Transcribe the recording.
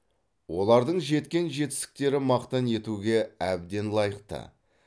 олардың жеткен жетістіктері мақтан етуге әбден лайықты